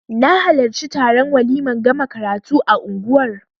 Na halarci taron waliman gama karatu a unguwar